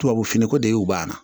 Tubabufiniko de y'u banna